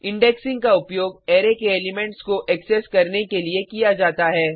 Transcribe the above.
indexing का उपयोग array के एलिमेंट्स को एक्सेस करने के लिए किया जाता है